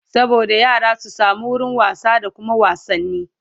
saboda yara su samu wurin wasa da Kuma wasanni